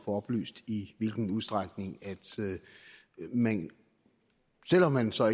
oplyst i hvilken udstrækning man selv om man så